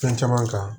Fɛn caman kan